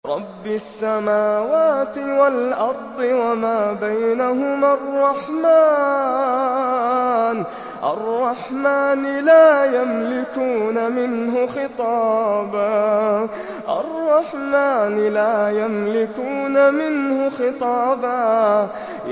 رَّبِّ السَّمَاوَاتِ وَالْأَرْضِ وَمَا بَيْنَهُمَا الرَّحْمَٰنِ ۖ لَا يَمْلِكُونَ مِنْهُ خِطَابًا